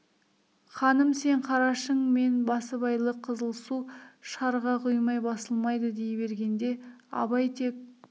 ханым сен қарашың мен басыбайлы қызыл су шарға құймай басылмайды дей бергенде абай тек